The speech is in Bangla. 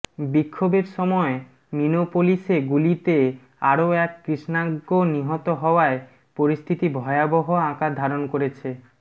বিক্ষোভের সময় মিনোপোলিসে গুলিতে আরও এক কৃষ্ণাজ্ঞ নিহত হওয়ায় পরিস্থিতি ভয়াবহ আকার ধারণ করেছে